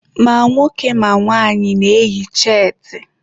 Ma nwoke ma nwaanyị na-eyi cheetị